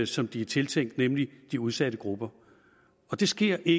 som de er tiltænkt nemlig de udsatte grupper det sker i